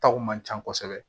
Taw man ca kosɛbɛ